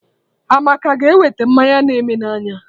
Amaka a ga-ewete mmanya na eme n'anya?